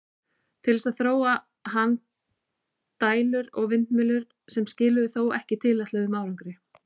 Til þess þróaði hann dælur og vindmyllur, sem skiluðu þó ekki tilætluðum árangri.